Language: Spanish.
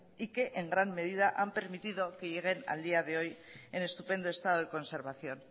y que en gran medida han permitido que lleguen al día de hoy en estupendo estado de conservación